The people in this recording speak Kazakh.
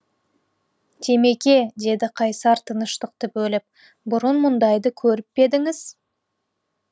темеке деді қайсар тыныштықты бөліп бұрын мұндайды көріп пе едіңіз